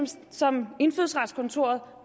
ting som indfødsretskontoret